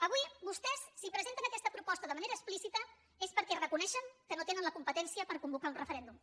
avui vostès si presenten aquesta proposta de manera explícita és perquè reconeixen que no tenen la competència per convocar un referèndum